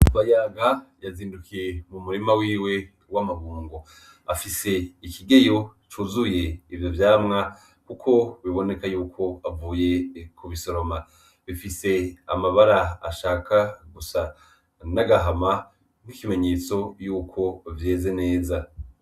Bayaga yazindukiye mu murima wiwe w'amagungo afise ikigeyo cuzuye ivyo vyamwa, kuko biboneka yuko avuye ku bisoroma bifise amabara ashaka gusa n'agahama nk'ikimenyetso yuko vyeze neza.